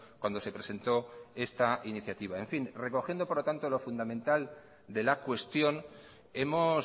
cuando se presentó esta iniciativa en fin recogiendo por lo tanto lo fundamental de la cuestión hemos